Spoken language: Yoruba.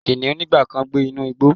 Kiniun nigba kan gbe inu igbo